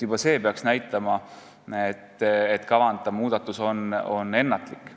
Juba see peaks näitama, et kavandatav muudatus on ennatlik.